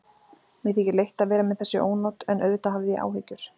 Mér þykir leitt að vera með þessi ónot en auðvitað hafði ég áhyggjur.